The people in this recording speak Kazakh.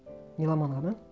меломанға ма